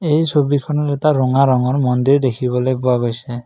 এই ছবিখনত এটা ৰঙা ৰঙৰ মন্দিৰ দেখিবলৈ পোৱা গৈছে।